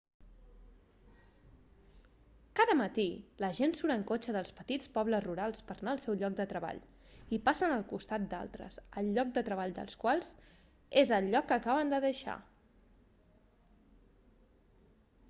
cada matí la gent surt en cotxe dels petits pobles rurals per a anar al seu lloc de treball i passen al costat d'altres el lloc de treball dels quals és el lloc que acaben de deixar